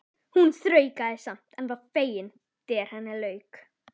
Hún þraukaði samt en var fegin þegar henni lauk.